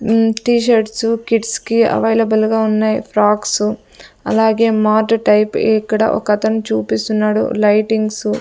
న్ T shirts kids కి అవైలబుల్గా ఉన్నాయి ఫ్రాక్స్ అలాగే మార్ట్ టైప్ ఇక్కడ ఒకతను చూపిస్తున్నాడు లైటింగ్సు --